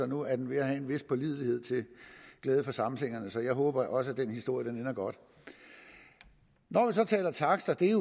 nu er ved at have en vis pålidelighed til glæde for samsingerne så jeg håber at også den historie ender godt når man så taler takster er